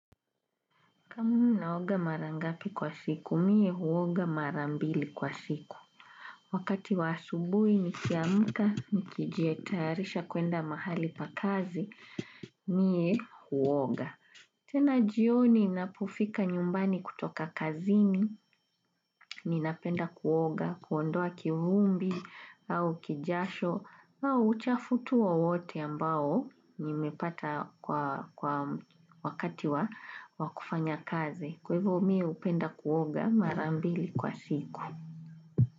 Kamu naoga marangapi kwa siku, mie huoga marambili kwa siku. Wakati wasubui nikiamka, nikijietarisha kuenda mahali pa kazi, mie huoga. Tena jioni napofika nyumbani kutoka kazini, ninapenda kuoga, kuondoa kivumbi, au kijasho, au uchafu tu wowote ambao nimepata kwa wakati wa wakufanya kazi. Kwaivo mi upenda kuoga marambili kwa siku.